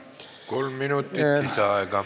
Kolm minutit lisaaega.